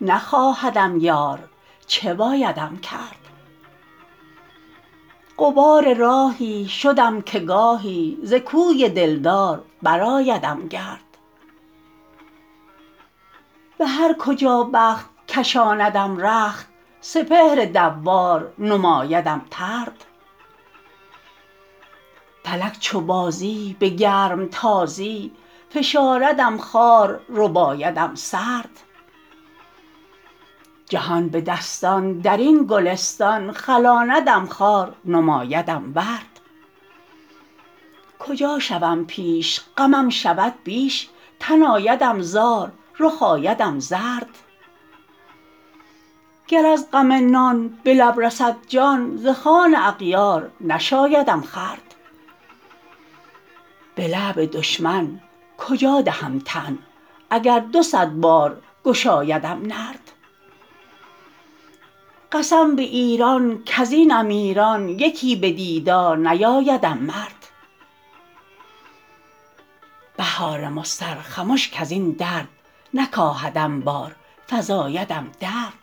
نخواهدم یار چه بایدم کرد غبار راهی شدم که گاهی زکوی دلدار برآیدم گرد به هرکجا بخت کشاندم رخت سپهر دوار نمایدم طرد فلک چو بازی به گرم تازی فشاردم خوار ربایدم سرد جهان به دستان درین گلستان خلاندم خار نمایدم ورد کجا شوم پیش غمم شود بیش تن آیدم زار رخ آیدم زرد گر از غم نان به لب رسد جان ز خوان اغیار نشایدم خورد به لعب دشمن کجا دهم تن اگر دو صد بارگشایدم نرد قسم به ایران کزین امیران یکی به دیدار نیایدم مرد بهار مضطر خمش کزین درد نکاهدم بار فزایدم درد